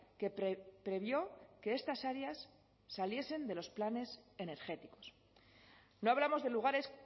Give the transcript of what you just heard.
que previó que estas áreas saliesen de los planes energéticos no hablamos de lugares